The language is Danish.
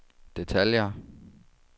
detaljer